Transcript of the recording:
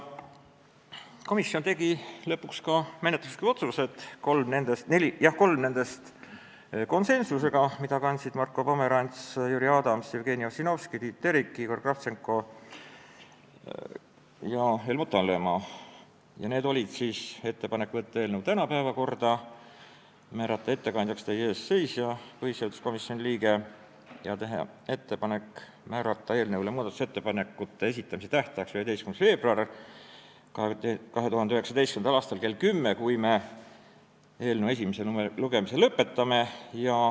Komisjon tegi lõpuks ka menetluslikud otsused, kolm nendest konsensuslikult : saata eelnõu tänaseks päevakorda, määrata ettekandjaks teie ees seisja, põhiseaduskomisjoni liige, ja kui me eelnõu esimese lugemise lõpetame, on meil ettepanek määrata eelnõu muudatusettepanekute esitamise tähtajaks 11. veebruar 2019 kell 10.